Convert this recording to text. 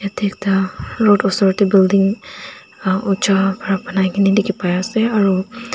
te ekta road osor tae building uncha pra banai kena dikhi pai ase aro.